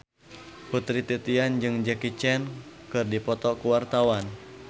Putri Titian jeung Jackie Chan keur dipoto ku wartawan